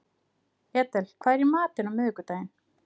Edel, hvað er í matinn á miðvikudaginn?